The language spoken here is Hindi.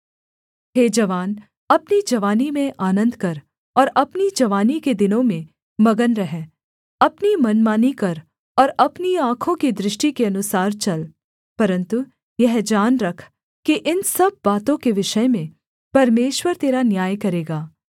हे जवान अपनी जवानी में आनन्द कर और अपनी जवानी के दिनों में मगन रह अपनी मनमानी कर और अपनी आँखों की दृष्टि के अनुसार चल परन्तु यह जान रख कि इन सब बातों के विषय में परमेश्वर तेरा न्याय करेगा